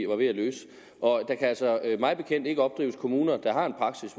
var ved at løse og der kan altså mig bekendt ikke opdrives kommuner der har en praksis